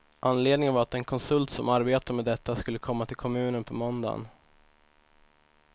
Anledningen var att den konsult som arbetar med detta skulle komma till kommunen på måndagen.